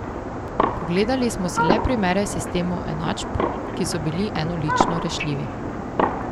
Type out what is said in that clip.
Pogledali smo si le primere sistemov enačb, ki so bili enolično rešljivi.